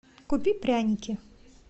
купи пряники